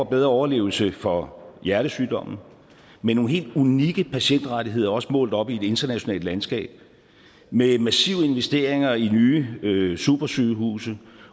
bedre overlevelse for hjertesygdomme med nogle helt unikke patientrettigheder også målt op i et internationalt landskab med massive investeringer i nye nye supersygehuse